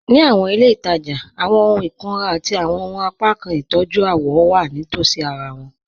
Ní àwọn ilẹ̀-itaja, àwọn òhùn ìkùnrà àti àwọn apákan ìtọ́jú àwọ̀ wà nítòsí àrà wọn.